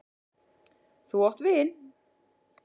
Þú átt vin!